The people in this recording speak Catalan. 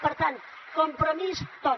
per tant compromís tot